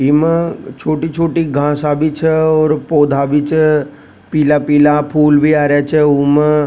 ई मा छोटी-छोटी घास आ बी छ और पौधा भी छ पीला पीला फूल भी आ रहे छ उमा।